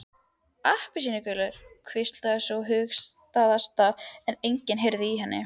Appelsínur? hvíslaði sú hugaðasta en enginn heyrði í henni.